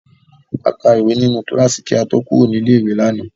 A kàwé nínú kíláàsì kí a tó kúrò ní ilé-ìwé lánàá.